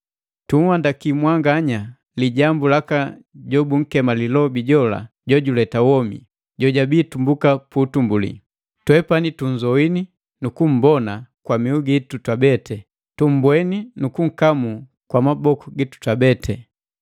Tunhandaki mwanganya lijambu laka jola jobunkema lilobi jola jojuleta womi, jojabii tumbuka pu utumbuli. Twepani tunzoini nu kumbona kwa mihu gitu twabeti; tumbweni nu kunkamuu kwa maboku gitu twabeti.